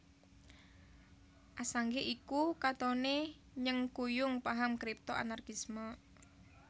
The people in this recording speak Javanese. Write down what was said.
Assange iku katoné nyengkuyung paham Kripto Anarkisme